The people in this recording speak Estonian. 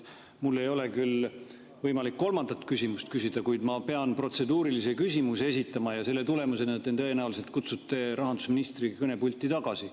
Mul ei ole küll võimalik kolmandat küsimust küsida, kuid ma pean protseduurilise küsimuse esitama ja selle tulemusena te tõenäoliselt kutsute rahandusministri kõnepulti tagasi.